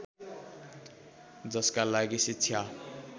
जसका लागि शिक्षा